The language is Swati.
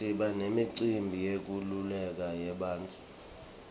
siba nemicimbi yenkululeko yebantfu